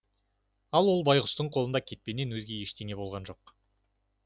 ал бұл байғұстың қолында кетпеннен өзге ештеме болған жоқ